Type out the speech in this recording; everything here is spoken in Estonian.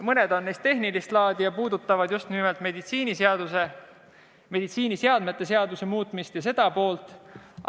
Mõned neist on tehnilist laadi ja puudutavad just nimelt meditsiiniseadmete seaduse muutmist ja seda poolt.